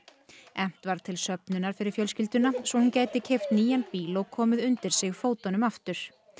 efnt var til söfnunar fyrir fjölskylduna svo hún gæti keypt nýjan bíl og komið undir sig fótunum aftur